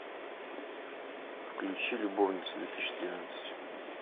включи любовницы две тысячи тринадцать